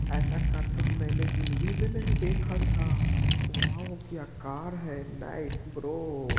ऐसा कार तो ह मैंने जिंदगी में नहीं देखा था। वाओ क्या कार है नाइस ब्रो ।